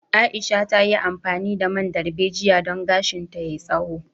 Aisha ta yi amfani da man darbejiya don gashinta yai tsaho